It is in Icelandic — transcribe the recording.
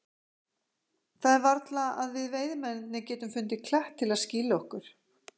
Það er varla að við veiðimennirnir getum fundið klett til að skýla okkur.